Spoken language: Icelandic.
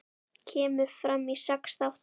Kemur fram í sex þáttum.